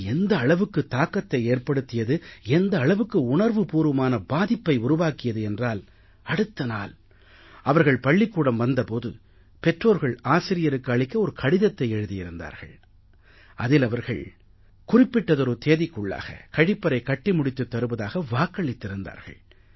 இது எந்த அளவுக்கு தாக்கத்தை ஏற்படுத்தியது எந்த அளவுக்கு உணர்வுபூர்வமான பாதிப்பை உருவாக்கியது என்றால் அடுத்த நாள் அவர்கள் பள்ளிக்கூடம் வந்த போது பெற்றோர்கள் ஆசிரியருக்கு அளிக்க ஒரு கடிதத்தை எழுதியிருந்தார்கள் அதில் அவர்கள் குறிப்பிட்டதொரு தேதிக்குள்ளாக கழிப்பறை கட்டி முடித்துத் தருவதாக வாக்களித்திருந்தார்கள்